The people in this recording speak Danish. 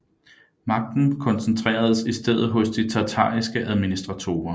Magten koncentreredes i stedet hos de tatariske administratorer